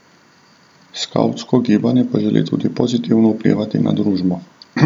Skavtsko gibanje pa želi tudi pozitivno vplivati na družbo.